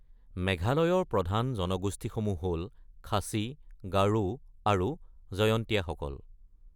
মেঘালয়ৰ প্ৰধান জনগোষ্ঠীসমূহ হ’ল খাচী, গাৰো আৰু জয়ন্তীয়াসকল।